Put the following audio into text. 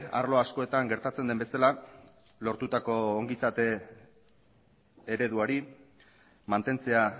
arlo askotan gertatzen den bezala lortutako ongizate ereduari mantentzea